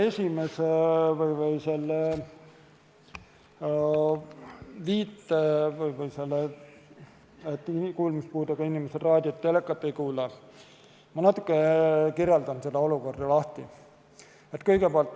Kõigepealt, seda olukorda, et kuulmispuudega inimesed raadiot ei kuula ja telekat ei vaata, ma natukene seletan lahti.